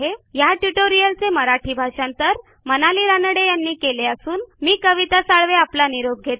ह्या ट्युटोरियलचे मराठी भाषांतर मनाली रानडे यांनी केलेले असून मी कविता साळवे आपला निरोप घेते